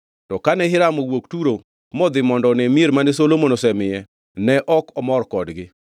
To kane Hiram owuok Turo modhi mondo one mier mane Solomon osemiye ne ok omor kodgi.